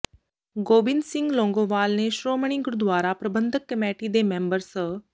ਗੋਬਿੰਦ ਸਿੰਘ ਲੌਂਗੋਵਾਲ ਨੇ ਸ਼੍ਰੋਮਣੀ ਗੁਰਦੁਆਰਾ ਪ੍ਰਬੰਧਕ ਕਮੇਟੀ ਦੇ ਮੈਂਬਰ ਸ